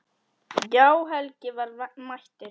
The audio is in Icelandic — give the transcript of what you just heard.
Já, Helgi var mættur.